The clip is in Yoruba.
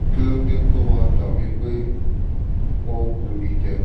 kílódé tó máa ń dà bí i pé wọ́n bu ni jẹ?